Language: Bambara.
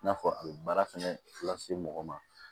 I n'a fɔ a bɛ baara fɛnɛ lase mɔgɔ ma